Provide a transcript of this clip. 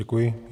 Děkuji.